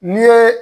N'i ye